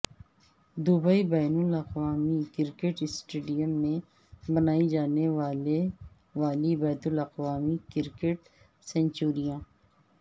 Dubai بین الاقوامی cricket stadium میں بنائی جانے والی بین الاقوامی کرکٹ سنچریاں